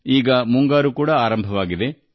ಈಗ ಮುಂಗಾರು ಮಳೆಯೂ ಬಂದಿದೆ